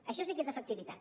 això sí que és efectivitat